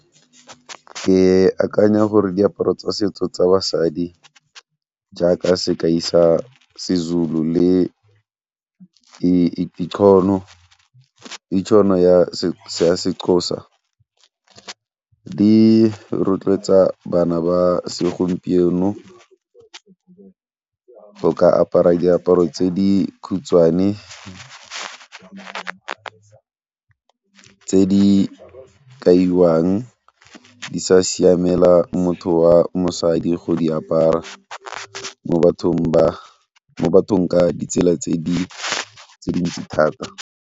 Ke akanya gore diaparo tsa setso tsa basadi jaaka sekai sa seZulu le ya seXhosa di rotloetsa bana ba segompieno go ka apara diaparo tse di khutshwane, tse di kaiwang di sa siamela motho wa mosadi go di apara mo bathong ka ditsela tse dintsi thata.